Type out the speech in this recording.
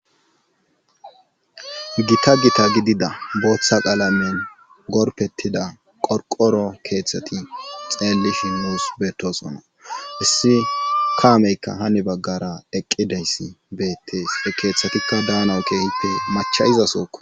gita gita gidida booththa qaalamen gorpettida qorqoro keeththati xeelli shimnus beetosona issi kaameykka hani baggara eqqideyssi beettees e keeththatikka daana keehippe machayizasooko